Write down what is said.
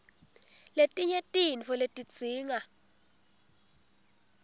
letinye tintfo letidzinga